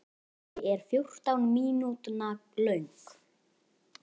Þessi er fjórtán mínútna löng.